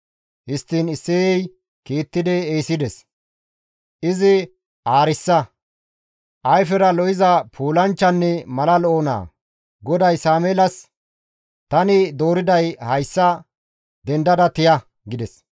Histtiin Isseyey kiittidi ehisides; izi aarissa, ayfera lo7iza puulanchchanne mala lo7o naa. GODAY Sameelas, «Tani dooriday hayssa, dendada tiya» gides.